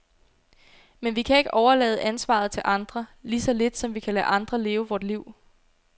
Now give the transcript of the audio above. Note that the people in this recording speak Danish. Men vi kan ikke overlade ansvaret til andre, lige så lidt som vi kan lade andre leve vort liv.